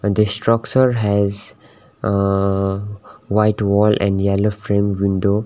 the structure has uh white wall and yellow frame window.